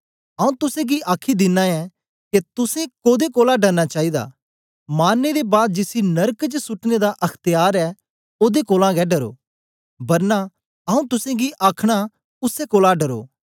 आऊँ तुसेंगी आखी दिना ऐं के तुसें कोदे कोलां डरना चाईदा मारने दे बाद जिसी नरक च सुटने दा अख्त्यार ऐ ओदे कोलां गै डरो बरना आऊँ तुसेंगी आखना उसै कोलां डरो